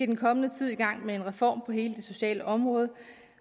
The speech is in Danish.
den kommende tid i gang med en reform på hele det sociale område